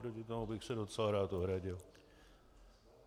Proti tomu bych se docela rád ohradil.